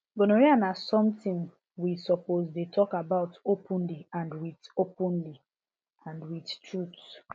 gonorrhea na something we suppose dey talk about openly and with openly and with truth